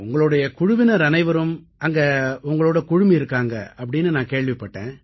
உங்களுடைய குழுவினர் அனைவரும் அங்கே உங்களோடு குழுமியிருக்கிறார்கள் என்று நான் கேள்விப்படுகிறேன்